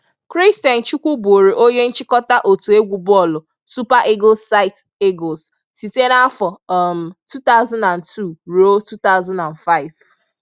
Christian Chukwu bụụrụ onye nchịkọta otu egwu bọọlụ Super Eagles site Eagles site n'afọ um 2002 ruo 2005